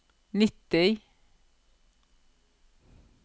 nitti